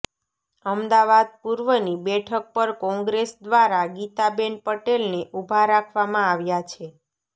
અમદાવાદ પૂર્વની બેઠક પર કોંગ્રેસ દ્વારા ગીતા બેન પટેલને ઊભા રાખવામાં આવ્યા છે